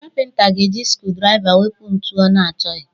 Kapịnta ga-eji skrudraiva wepụ ntu ọ na-achọghị.